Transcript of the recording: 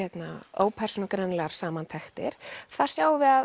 ópersónugreinanlegar samantektir þar sjáum við að